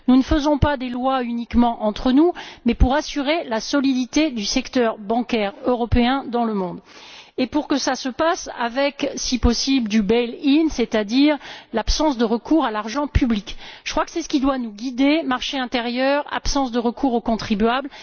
Nous ne faisons pas des lois uniquement entre nous mais pour assurer la solidité du secteur bancaire européen dans le monde pour que cela se passe avec, si possible, du bail in c'est à dire l'absence de recours à l'argent public. Je crois que c'est ce qui doit nous guider marché intérieur, absence de recours aux contribuables.